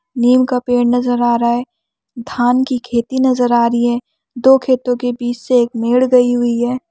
नीम का पेड़ नजर आ रहा है धान की खेती नजर आ रही हैं दो खेतो के बीच से एक मेड गई हुई है।